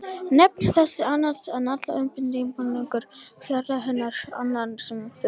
Nefnd þessi annaðist allan undirbúning byggingarinnar, fjárreiður hennar og annað, sem þurfti.